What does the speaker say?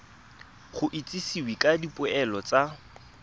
go itsisiwe ka dipoelo tsa